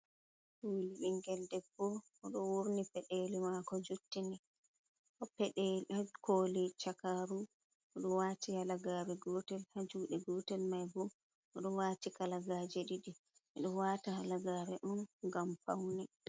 Ɓingel debbo oɗo wurni peɗeli mako jottini peɗeli ha koli chakaru oɗo waati halagare gotel ha juuɗe gotel mai bo oɗo waati kalagaje ɗiɗi ɓe ɗo waata halagaare on ngam paune.